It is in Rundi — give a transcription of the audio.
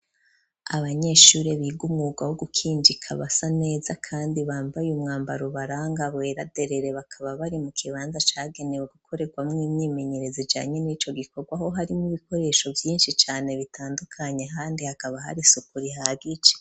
Abanyeshuri biga umwuga wo gukinjika basa neza kandi bambaye umwambarubaranga bweraderere bakaba bari mu kibanza cagenewe gukorerwamo imyimenyerezo canyine ico gikorwaho harimo ibikoresho vyinshi cane bitandukanye kandi hakaba hari suku rihagije.